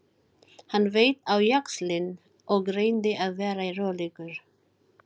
Hann beit á jaxlinn og reyndi að vera rólegur.